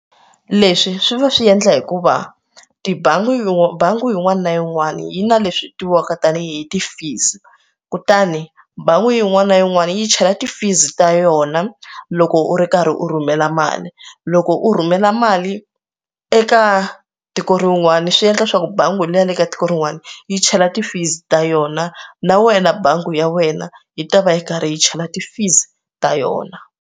Leswi swi va swi endla hikuva tibangi bangi yin'wana na yin'wana yi na leswi tiviwaka tanihi ti-fees kutani bangi yin'wana na yin'wana yi chela ti-fees ta yona loko u ri karhi u rhumela mali loko u rhumela mali eka tiko rin'wani swi endla leswaku bangi leyi ya le ka tiko rin'wani yi chela ti-fees ta yona na wena bangi ya wena yi ta va yi karhi yi chela ti-fees ta yona.